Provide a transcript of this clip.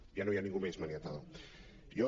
ja no hi ha ningú més maniatado